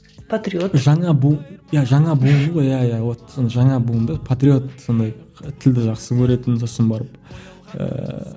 патриот жаңа иә жаңа буынды ғой иә иә вот жаңа буынды патриот сондай тілді жақсы көретін сосын барып ыыы